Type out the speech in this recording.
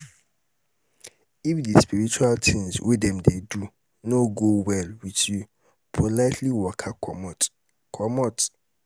if di spiritual tins wey dem dey do no go well with youpolitely waka comot comot